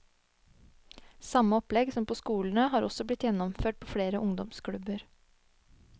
Samme opplegg som på skolene har også blitt gjennomført på flere ungdomsklubber.